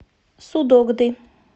судогды